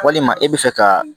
Walima e bɛ fɛ ka